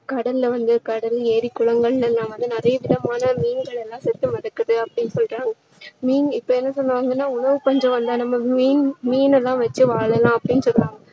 கடல்ல வந்து கடல், ஏரி, குளங்களில எல்லாம் வந்து நிறைய விதமான மீன்கள் எல்லாம் செத்து மிதக்குது அப்படின்னு சொல்றாங்க. மீன் இப்போ என்ன சொல்றாங்கன்னா உணவு பஞ்சம் வந்தா நம்ம மீன் மீன் எல்லாம் வச்சு வாழலாம் அப்படின்னு சொன்னாங்க